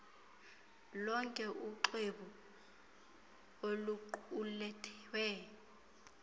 lonke uxwebhu oluqulethwe